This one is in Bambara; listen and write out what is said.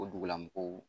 O dugulamɔgɔw